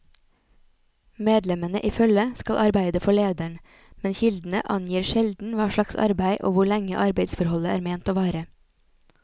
Medlemmene i følget skal arbeide for lederen, men kildene angir sjelden hva slags arbeid og hvor lenge arbeidsforholdet er ment å vare.